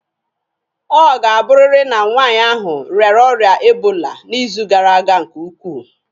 Ọ ga-abụrịrị na nwaanyị ahụ rịara ọrịa ebola n'izu gara aga nke ukwuu.